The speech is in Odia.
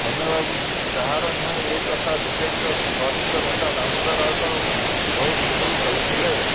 ସୌମ୍ୟ ବାବୁ କାହାର ନୁହେଁ ଏ କଥା ବିଜେଡିର ବରିଷ୍ଠ ନେତା ଦାମୋଦର ରାଉତ ବହୁ ପୂର୍ବରୁ କହିଥିଲେ